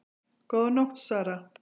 Góða nótt Sara